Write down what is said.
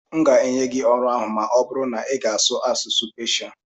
m ga-enye gị ọrụ ahụ ma ọ bụrụ na ịga asụwu asụsụ Peshia